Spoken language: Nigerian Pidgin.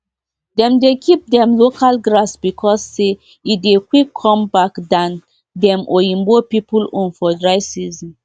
dem dey keep dem local grass because say e dey quick come back than dem oyibo pipu own for dry season